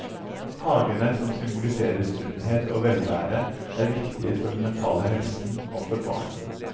Hagene, som symboliserer sunnhet og velvære, er viktige for den mentale helsen og for barna.